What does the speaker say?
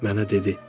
Mənə dedi: